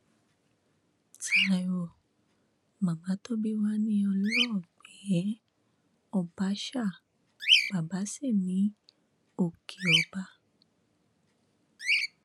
taiwo màmá tó bí wa ní ọlọẹgbẹ ọbàṣà bàbà sí ní òkè ọba